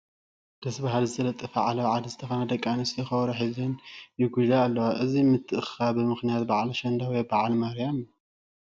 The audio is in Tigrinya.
ደስ በሃሊ ዝተጠለፈ ዓለባ ዓዲ ዝተኸደና ደቂ ኣንስትዮ ከበሮ ሒዘን ይጉይላ ኣለዋ፡፡ እዚ ምትእኽኻበን ብምኽንያ በዓል ኣሸንዳ ወይ በዓል ማርያ እዩ፡፡